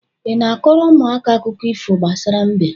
Ị na-a kọọrọ ụmụaka akụkọ ifo gbasara mbe?